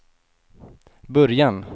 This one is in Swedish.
början